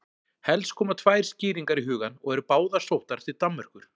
helst koma tvær skýringar í hugann og eru báðar sóttar til danmerkur